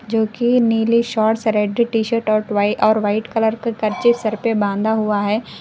जोकी नीली shorts red t shirt और टाई और व्हाइट कलर का गज्जे सर पे बांधा हुआ है।